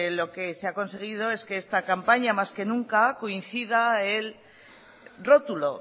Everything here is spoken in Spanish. lo que se ha conseguido es que esta campaña más que nunca coincida el rótulo